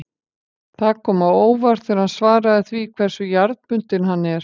Það kom á óvart þegar hann svaraði því hversu jarðbundinn hann er.